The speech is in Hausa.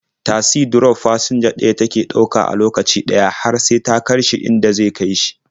Tasi drof fasinja ɗaya take ɗauka a lokaci ɗaya har sai ta kai shi inda zai sauka.